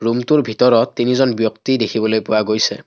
ৰুমটোৰ ভিতৰত তিনিজন ব্যক্তি দেখিবলৈ পোৱা গৈছে।